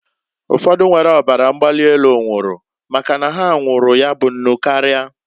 Ụfọdụ nwere ọbara mgbali elu nwụrụ, maka na ha nwụụrụ ya bụ nnụ karia.